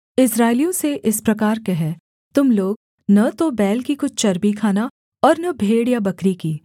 इस्राएलियों से इस प्रकार कह तुम लोग न तो बैल की कुछ चर्बी खाना और न भेड़ या बकरी की